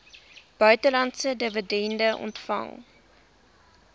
buitelandse dividende ontvang